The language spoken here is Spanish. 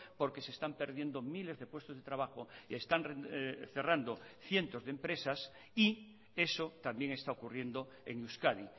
porque se están perdiendo miles de puestos de trabajo y están cerrando cientos de empresas y eso también está ocurriendo en euskadi